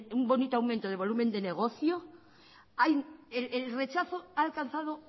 un bonito aumento de volumen de negocio el rechazo ha alcanzado